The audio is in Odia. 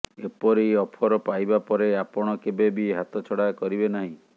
ଏପରି ଅଫର ପାଇବା ପରେ ଆପଣ କେବେ ବି ହାତ ଛଡା କରିବେ ନାହିଁ